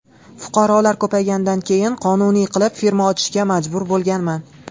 Fuqarolar ko‘payganidan keyin qonuniy qilib firma ochishga majbur bo‘lganman.